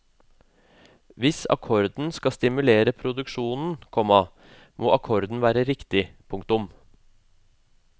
Hvis akkorden skal stimulere produksjonen, komma må akkorden være riktig. punktum